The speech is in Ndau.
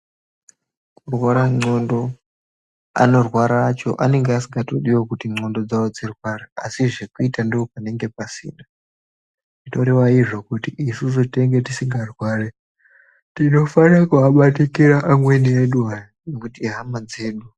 Kurwara ndxondo anorwara acho anenge asikatodiwo kuti ndxondo dzawo dzirware asi zvekuita ndopanenge pasuna zvinorwva izvo kuti isusu tinenge tisikarwari tinofanire kuabatikira amweni edu hai ngekuti ihama dzedu.